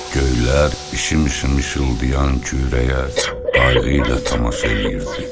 Göylər işim-işim işıldayan kürəyə qayğı ilə tamaşa eləyirdi.